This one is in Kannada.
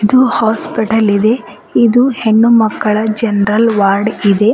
ಇದು ಹಾಸ್ಪಿಟಲ್ ಇದೆ ಇದು ಹೆಣ್ಣು ಮಕ್ಕಳ ಜೆನರಲ್ ವಾರ್ಡ್ ಇದೆ.